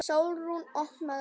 Sólrún, opnaðu augun!